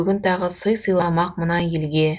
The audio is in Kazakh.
бүгін тағы сый сыйламақ мына елге